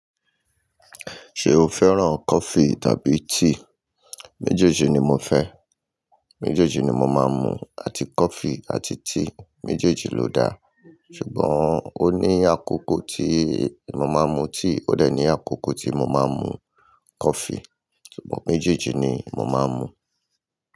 Ṣé o fẹ́ràn coffee tàbí tea? Méjèèjì ni mo fẹ́, méjèèjì ni mo máa ń mu. Àti coffee àti tea, méjèèjì ló da. Ṣùgbọ́n ó ní àkókò tí mo máa ń mu tea, ó dẹ̀ ní àkókò tí mo máa ń mu coffee. Ṣùgbọ́n méjèèjì ni mo máa ń mu.